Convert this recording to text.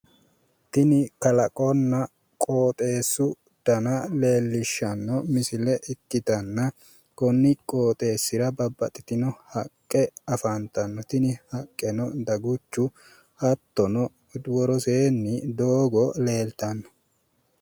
Tini kalaqonna qooxeessu dana leellishshanno misile ikkitanna konni qooxeessira babbaxxitino haqqe afantanno. Tini haqqeno dagucho hattono woroseenni doogo leeltanno.